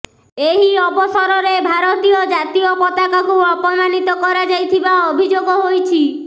ଏହି ଅବସରରେ ଭାରତୀୟ ଜାତୀୟ ପତାକାକୁ ଅପମାନିତ କରାଯାଇଥିବା ଅଭିଯୋଗ ହୋଇଛି